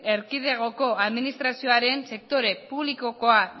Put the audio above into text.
erkidegoko administrazioaren sektore publikokoa